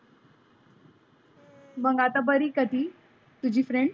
मग आत्ता बरी आहे का तुझी ती friend?